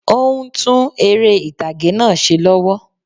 Óún tún eré ìtàgé náà se lọ́wọ́